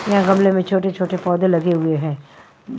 म्ह गमलों में छोटे-छोटे पौधें लगे हुए हैं--